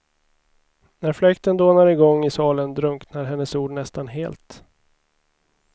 När fläkten dånar i gång i salen drunknar hennes ord nästan helt.